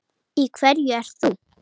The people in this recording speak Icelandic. Í hverju ert þú?